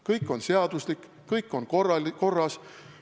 " Kõik on seaduslik, kõik on korras.